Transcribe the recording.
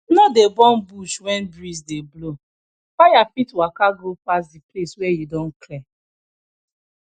no dey burn bush when breeze dey blow fire fit waka go pass the place wey you don clear